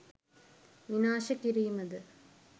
විනාශ කිරීම ද?